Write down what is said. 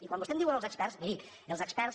i quan vostè diu em diuen els experts miri els experts